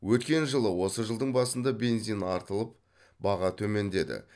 өткен жылы осы жылдың басында бензин артылып баға төмендеді